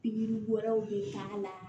Pikiri wɛrɛw bɛ k'a la